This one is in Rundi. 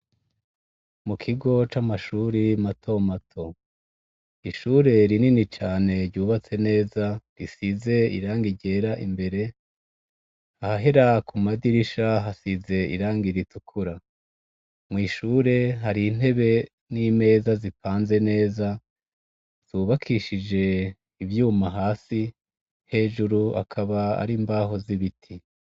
Mu kigo c'amashuri mato mato, ishure rinini cane ryubatse neza risize irangi ryera imbere, aha hera ku madirisha hasize irangi ritukura, mw'ishure hari intebe n'imeza zipanze neza zubakishije ivyuma hasi hejuru akaba ari imbaho z'ibiti.